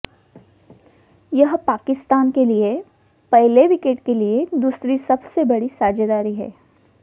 यह पाकिस्तान के लिए पहले विकेट के लिए दूसरी सबसे बड़ी साझेदारी है